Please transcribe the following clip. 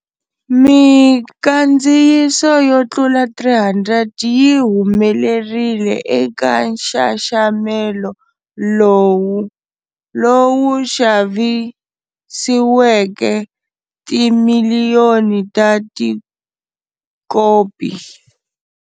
Minkandziyiso yo tlula 300 yi humelerile eka nxaxamelo lowu, lowu xavisiweke timiliyoni ta tikopi.